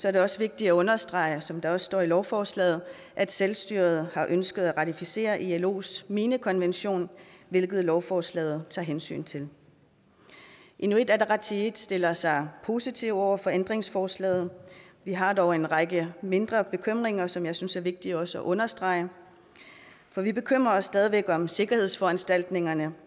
er det også vigtigt at understrege som der også står i lovforslaget at selvstyret har ønsket at ratificere ilos minekonvention hvilket lovforslaget tager hensyn til inuit ataqatigiit stiller sig positivt over for ændringslovforslaget vi har dog en række mindre bekymringer som jeg synes er vigtige også at understrege for vi bekymrer os stadig væk om sikkerhedsforanstaltningerne